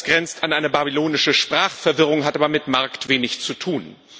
Das grenzt an eine babylonische Sprachverwirrung, hat aber mit Markt wenig zu tun.